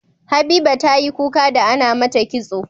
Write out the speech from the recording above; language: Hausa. Habiba tayi kuka da Ana mata kitso